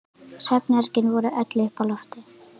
Svefnherbergin voru öll uppi á lofti.